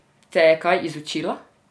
Te je kaj izučila?